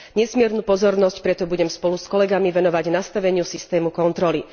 Nesmiernu pozornosť preto budem spolu s kolegami venovať nastaveniu systému kontroly.